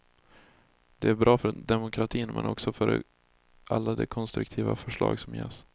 Det är bra för demokratin men också för alla de konstruktiva förslag som ges.